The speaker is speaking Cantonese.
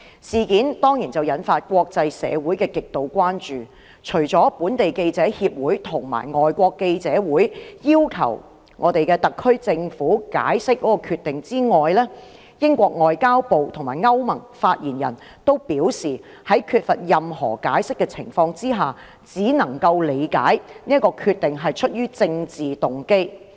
事件當然引發國際社會極度關注，除了香港記者協會及香港外國記者會要求特區政府解釋該決定之外，英國外交及聯邦事務部及歐盟發言人均表示，在缺乏任何解釋的情況之下，只能夠理解該決定是出於政治動機。